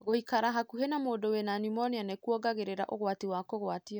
Gũikara hakuhĩ na mũndu wĩna pneumonia nĩkuongagĩrĩra ũgwati wa kũgwatio.